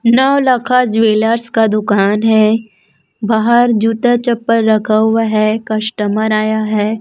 Naulakha jewellers का दुकान है। बाहर जूता चप्पल रखा हुआ है कस्टमर आया है।